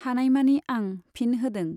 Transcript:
हानायमानि आं फिन होदों।